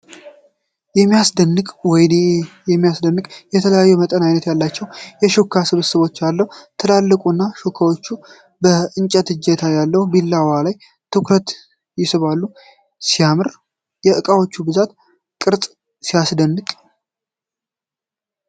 የሚያስደንቅ ወይኔ ሲያስደንቅ! የተለያዩ መጠንና ዓይነት ያላቸው የሹካዎች ስብስብ አለ። ትላልቆቹ ሹካዎች እና የእንጨት እጀታ ያለው ቢላዋ ልዩ ትኩረት ይስባሉ። ሲያምር! የዕቃዎች ብዛትና ቅርፅ አስደናቂ ነው።